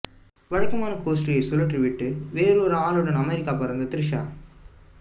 வழக்கமான கோஷ்டியை கழற்றிவிட்டுட்டு வேறு ஒரு ஆளுடன் அமெரிக்கா பறந்த த்ரிஷா